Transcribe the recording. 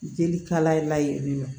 Jeli kalaya la yen nɔ